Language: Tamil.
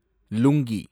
லுங்கி